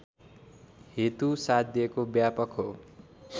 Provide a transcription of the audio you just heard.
हेतु साध्यको व्यापक हो